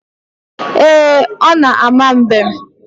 Ee, ọ na-ama mbem.